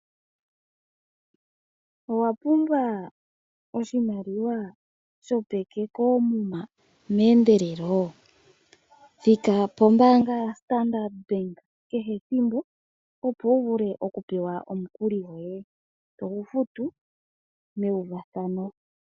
Owa pumbwa oshimaliwa shopeke koomuma meendelelo? Thika pombaanga ya Standard bank kehe ethimbo opo wu vule oku pewa omukuli goye togu futu mewufathano.